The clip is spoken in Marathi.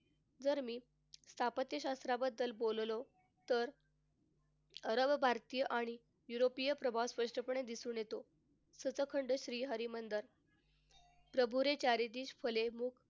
जर मी स्थापत्यशास्त्राबद्दल बोललो तर अरब, भारतीय आणि युरोपीय प्रभाव स्पष्टपणे दिसून येतो. सचखंड श्री हरमंदिर प्रभू रे चाली दिस फले हू,